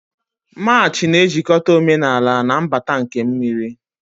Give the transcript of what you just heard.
March na-ejikọta omenala na mbata nke mmiri.